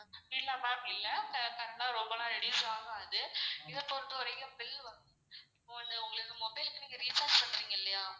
இல்ல ma'am இல்ல current லான் ரொம்ப லாம் reduce ஆகாது இத பொறுத்த வரைக்கும் bill இப்போ வந்து உங்களுக்கு mobile க்கு recharge பண்றீங்க இல்லையா